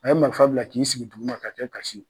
A ye marifa bila k'i sigi duguma ka kɛ kasi ye